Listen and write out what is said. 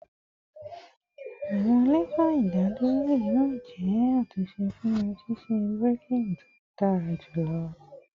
Awọn lefa idaduro yoo jẹ atunṣe fun ṣiṣe braking to dara julọ